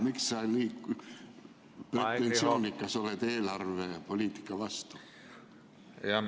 Miks sa nii pretensioonikas oled eelarvepoliitika vastu?